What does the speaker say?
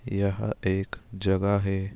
यह एक जगह है।